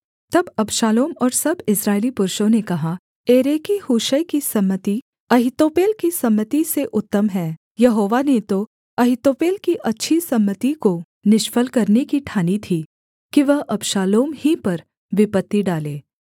तब अबशालोम और सब इस्राएली पुरुषों ने कहा एरेकी हूशै की सम्मति अहीतोपेल की सम्मति से उत्तम है यहोवा ने तो अहीतोपेल की अच्छी सम्मति को निष्फल करने की ठानी थी कि वह अबशालोम ही पर विपत्ति डाले